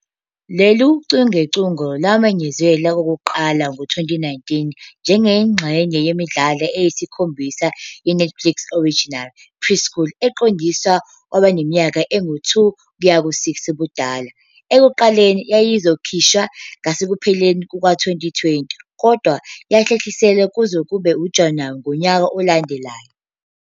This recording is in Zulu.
Lolu chungechunge lwamenyezelwa okokuqala ngo-2019 njengengxenye yemidlalo eyisikhombisa ye-Netflix Original Preschool eqondiswe kwabaneminyaka engu-2-6 ubudala. Ekuqaleni yayizokhishwa ngasekupheleni kuka-2020, kodwa yahlehliswa kuze kube uJanuwari ngonyaka olandelayo.